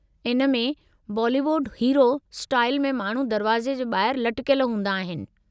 इन मे Bollywood hero style में माण्हू दरवाजे़ जे ॿाहिरि लटिकयल हूंदा आहिनि।